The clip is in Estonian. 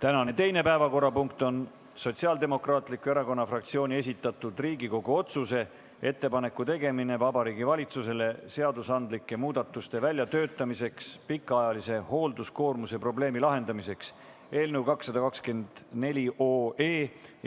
Tänane teine päevakorrapunkt on Sotsiaaldemokraatliku Erakonna fraktsiooni esitatud Riigikogu otsuse "Ettepaneku tegemine Vabariigi Valitsusele seadusandlike muudatuste väljatöötamiseks pikaajalise hoolduskoormuse probleemi lahendamiseks" eelnõu 224